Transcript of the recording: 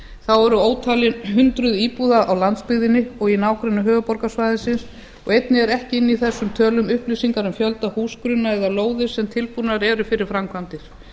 þá eru ótalin hundruð íbúða á landsbyggðinni og í nágrenni höfuðborgarsvæðisins og einnig eru ekki inni í þessum tölum upplýsingar um fjölda húsgrunna eða lóðir sem tilbúnir eru fyrir framkvæmdir